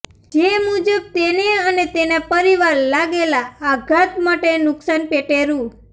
જે મુજબ તેને અને તેના પરિવાર લાગેલા આઘાત માટેના નુકસાન પેટે રૂ